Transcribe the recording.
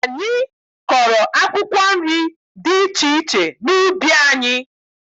Anyị kọrọ akwụkwọ nri dị iche iche n'ubi anyị.